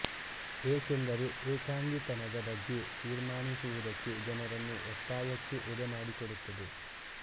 ಎಕೆಂದರೆ ಎಕಾಂಗಿತನದ ಬಗ್ಗೆ ತೀರ್ಮಾನಿಸುವುದಕ್ಕೆ ಜನರನ್ನು ಒತ್ತಾಯಕ್ಕೆ ಎಡೆ ಮಾಡಿಕೊಡುತ್ತದೆ